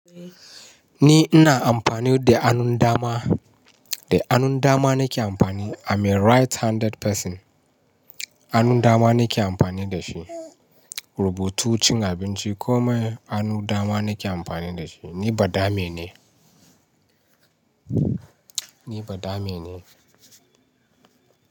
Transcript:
Ni ina amfani da hannun dama, da hannun dama nake amfani. I'm a right handed person. Hannun dama nake amfani da shi. Rubutu, cin abinci komai hannun dama nake amfani da shi. Ni badame ne. Ni badame ne.